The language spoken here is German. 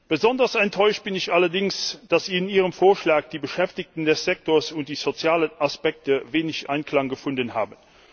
Besonders enttäuscht bin ich allerdings, dass in Ihrem Vorschlag die Beschäftigten des Sektors und die sozialen Aspekte wenig Anklang gefunden haben.